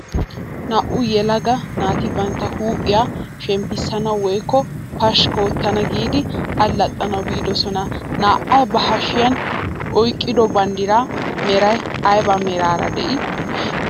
Naa"u yelaga bantta huuphphiyaa shemppisanwu woykko pashikki oottana giidi allaxanawu biidosan na'ay ba hashiyaan oyqqido banddiraa meray aybe meraara de'ii?